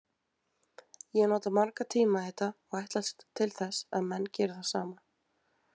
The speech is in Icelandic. Ég nota marga tíma í þetta og ætlast til að menn geri það sama.